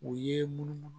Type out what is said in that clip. U ye munumunu